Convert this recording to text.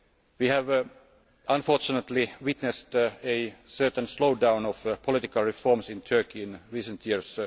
We have unfortunately witnessed a certain slow down of political reforms in Turkey in recent